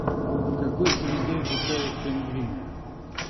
в какой среде обитают пингвины